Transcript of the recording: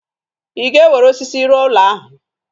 Ị ga-ewere osisi rụọ ụlọ ahụ?